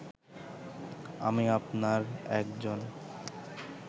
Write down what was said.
আমি আপনার একজন